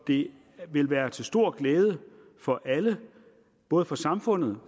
det vil være til stor glæde for alle både for samfundet